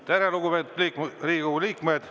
Tere, lugupeetud Riigikogu liikmed!